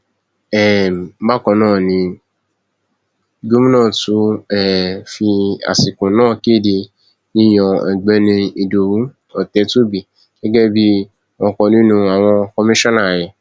um bákan náà ni gómìnà tún um fi àsìkò náà kéde yíyan ọgbẹni ìdòwú ọtẹtùbí gẹgẹ bíi ọkan nínú àwọn kọmíṣánná rẹ